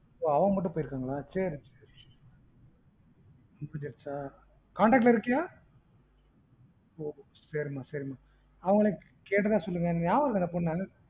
ஒ அவங்க மட்டும் போயிருக்கங்களா சேரி சேரி முடிஞ்சிருச்சா contact ல இருக்கியா ஒ சேரிமா சேரிமா அவங்களையும் கேட்டதா சொல்லுங்க எனக்கு ஞாபகம் இல்ல அந்த பொண்ண